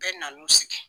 Bɛɛ nan'u sigi